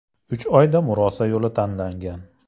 Uch o‘yinda murosa yo‘li tanlangan.